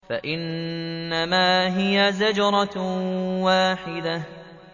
فَإِنَّمَا هِيَ زَجْرَةٌ وَاحِدَةٌ